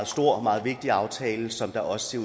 stor og meget vigtig aftale som det også